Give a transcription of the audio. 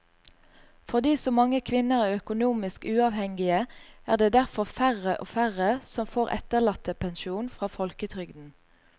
Fordi så mange kvinner er økonomisk uavhengige er det derfor færre og færre som får etterlattepensjon fra folketrygden.